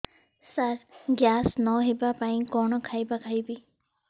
ସାର ଗ୍ୟାସ ନ ହେବା ପାଇଁ କଣ ଖାଇବା ଖାଇବି